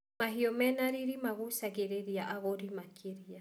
Mahiũ mene riri magucagĩrĩria agũri makĩria.